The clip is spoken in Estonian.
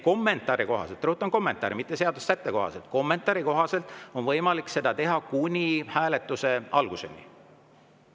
Kommentaari kohaselt – rõhutan: kommentaari kohaselt, mitte seaduse sätte kohaselt – on võimalik seda teha kuni hääletuse alguseni.